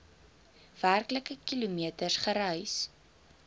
werklike kilometers gereis